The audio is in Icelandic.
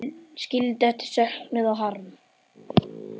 Skildi eftir söknuð og harm.